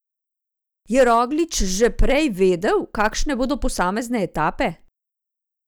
Je Roglič že prej vedel, kakšne bodo posamezne etape?